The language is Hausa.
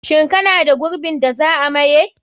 Shin kana da gurbin da za a maye?